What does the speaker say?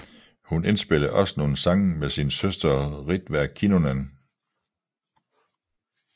Hun indspillede også nogle sange med sin søster Ritva Kinnunen